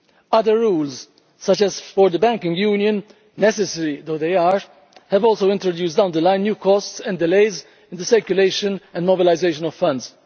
Other rules such as those for the banking union, necessary though they are, have also introduced down the line new costs and delays in the circulation and mobilisation of funds.